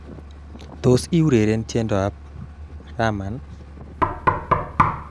Tos, iureren tiendoab Rahman